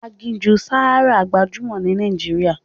Aginjù Sahara gbajúmọ̀ ní Nàìjíríà.